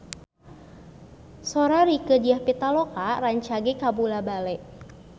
Sora Rieke Diah Pitaloka rancage kabula-bale